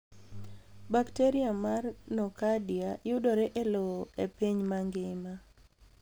Bakteria mar nocardia yudore e lowo e piny mangima.